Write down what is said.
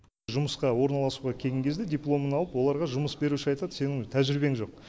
жұмысқа орналасуға келген кезде дипломын алып оларға жұмыс беруші айтады сенің тәжірибең жоқ